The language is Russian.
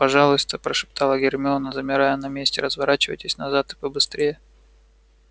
пожалуйста прошептала гермиона замирая на месте разворачивайтесь назад и побыстрее